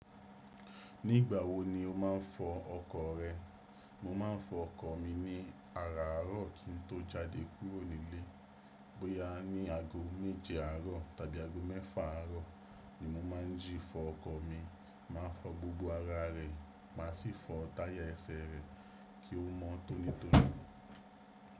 Ní ìgbà wo ni o máà ń fọ ọkọ̀ rẹ? Mo máà ń fọ ọkọ̀ mi ní àràárọ̀ kí n tó jáde kúrò nílé. Bóyá ní aago méje àárọ̀ tàbí aago mẹ́fà àárọ̀ ni mo máà ń jí fọ ọkọ̀ mi. Máa fọ gbogbo ara rẹ̀, máa sì fọ táyà ẹ̀sẹ̀ rẹ̀ kí ó mọ́ tónítóní.